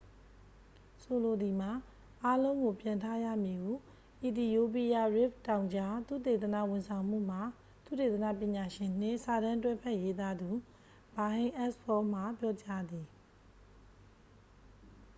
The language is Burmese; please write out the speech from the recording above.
ဆိုလိုသည်မှာ အားလုံးကိုပြန်ထားရမည် ဟု အီသီယိုးပီးယား ရစ်ဖ်တောင်ကြား သုတေသနဝန်ဆောင်မှုမှ သုတေသနပညာရှင်နှင့် စာတမ်းတွဲဘက်ရေးသားသူ ဘာဟိန်းအက်စ်ဖောမှ ပြောကြားသည်